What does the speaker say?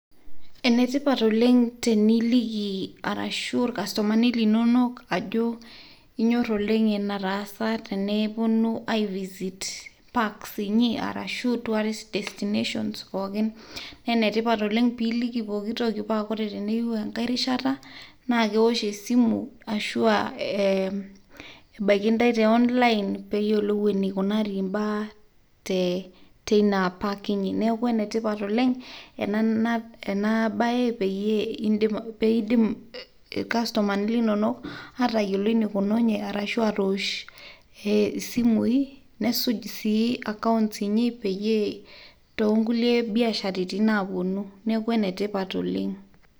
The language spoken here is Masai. Enetipat oleng' teniliki arashu irkastomani linonok ajo inyor oleng' enetaasa teneponu ai visit parks, inyi arashu tourists destinations pookin. Na enetipat oleng' piliki pooki toki pa ore teneyieu enkae rishata, na kewosh esimu ashua e ebaiki ntae te online peyiolou enikunari imbaa teina park inyi. Neeku enetipat oleng' ena bae peyie peidim irkastomani linonok atayiolo enikununye, arashu atoosh isimui, nesuj si accounts inyi, peyie tonkulie biasharitin naponu. Neeku enetipat oleng'.